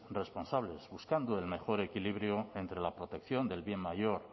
responsables buscando el menor equilibrio entre la protección del bien mayor